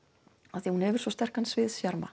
af því hún hefur svo sterkan